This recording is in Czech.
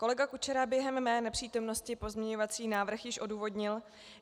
Kolega Kučera během mé nepřítomnosti pozměňovací návrh již odůvodnil.